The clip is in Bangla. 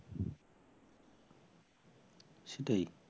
সেটাই